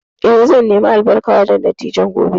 Eh, zan nemi albarka wurin dattijan gobe